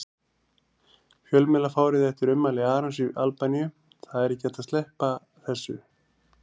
Fjölmiðlafárið eftir ummæli Arons í Albaníu Það er ekki hægt að sleppa þessu.